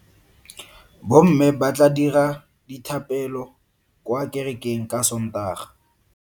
Bomme ba tla dira dithapelo kwa kerekeng ka Sontaga.